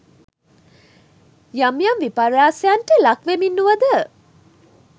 යම් යම් විපර්යාසයන්ට ලක් වෙමින් වුවද